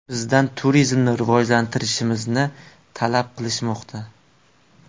Bizdan turizmni rivojlantirishimizni talab qilishmoqda.